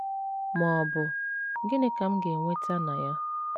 ma ọ bụ, “ Gịnị ka m ga - enweta na ya? ”